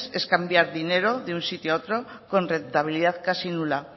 es cambiar dinero de un sitio a otro con rentabilidad casi nula